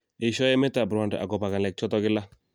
Eshoi emet ap Rwanda agobo kalek choto kila